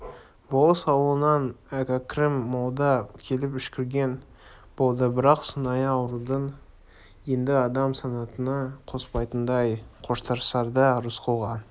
болыс ауылынан әкрәм молда келіп үшкірген болды бірақ сыңайы ауруды енді адам санатына қоспайтындай қоштасарда рысқұлға